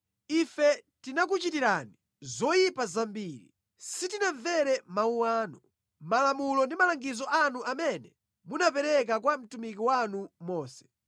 Ife tinakuchitirani zoyipa zambiri. Sitinamvere mawu anu, malamulo ndi malangizo anu amene munapereka kwa mtumiki wanu Mose.